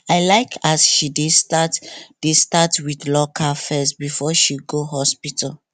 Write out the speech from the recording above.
i like as she dey start dey start with local first before she go hospital